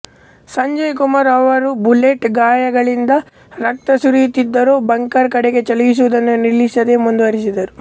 ಸಂಜಯ್ ಕುಮಾರ್ ಅವರು ಬುಲೆಟ್ ಗಾಯಗಳಿಂದ ರಕ್ತ ಸುರಿಯುತ್ತಿದ್ದರೂ ಬಂಕರ್ ಕಡೆಗೆ ಚಲಿಸಿವುದನ್ನು ನಿಲ್ಲಿಸದೇ ಮುಂದುವರಿಸಿದರು